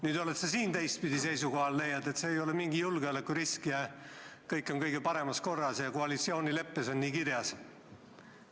Nüüd oled sa siin teistpidi seisukohal, leiad, et see ei ole mingi julgeolekurisk ja kõik on kõige paremas korras ja koalitsioonileppes on nii kirjas.